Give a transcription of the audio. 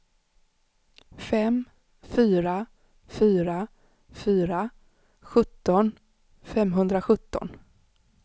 fem fyra fyra fyra sjutton femhundrasjutton